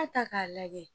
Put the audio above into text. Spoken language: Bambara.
ta k'a lajɛ